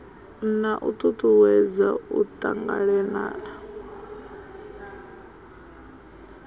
na u tutuwedza u tanganelana